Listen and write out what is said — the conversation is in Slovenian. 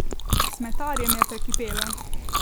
Smetarjem je prekipelo.